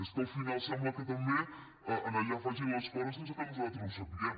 és que al final sembla que també allà facin les coses sense que nosaltres ho sapiguem